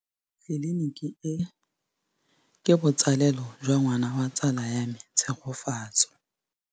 Tleliniki e, ke botsalêlô jwa ngwana wa tsala ya me Tshegofatso.